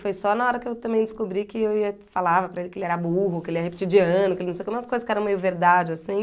Foi só na hora que eu também descobri que ia, eu falava para ele que ele era burro, que ele era repetir de ano, que ele não sei o que, umas coisas que eram meio verdade, assim.